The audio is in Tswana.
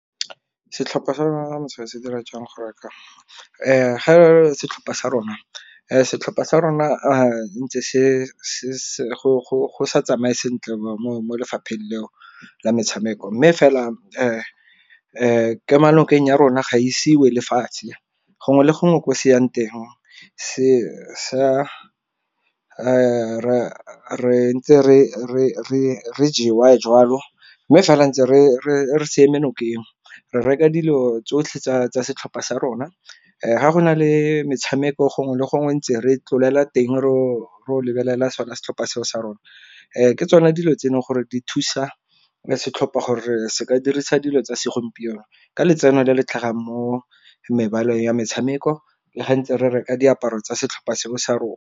Setlhopha sa rona se dira jang go setlhopha sa rona, setlhopha sa rona ntse go sa tsamaye sentle mo lefapheng leo la metshameko. Mme fela kemo nokeng ya rona ga isi e wele lefatshe gongwe le gongwe ko se yang teng sa ntse re jewa jwalo, mme fela ntse re se eme nokeng. Re reka dilo tsotlhe tsa setlhopha sa rona ga go na le metshameko gongwe le gongwe ntse re tlolela teng ro lebelela sona setlhopha seo sa rona. Ke tsona dilo tse e leng gore di thusa setlhopha gore se ka dirisa dilo tsa segompieno ka letseno le le tlhagang mo mebaleng ya metshameko le ga ntse re reka diaparo tsa setlhopha seo sa rona.